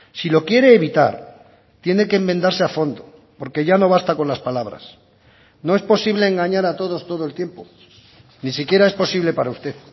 si lo quiere evitar tiene que enmendarse a fondo porque ya no basta con las palabras no es posible engañar a todos todo el tiempo ni siquiera es posible para usted